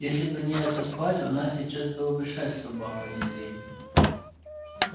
если бы не эта тварь у нас сейчас было бы шесть собак а не три